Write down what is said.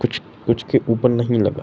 कुछ-कुछ के उपर नही लगा --